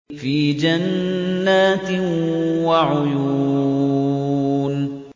فِي جَنَّاتٍ وَعُيُونٍ